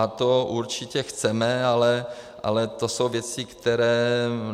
A to určitě chceme, ale to jsou věci, které...